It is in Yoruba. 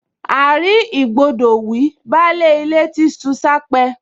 À-rí-ìgbọdọ̀ wí, baálé ilé ti ṣu s’ápẹ́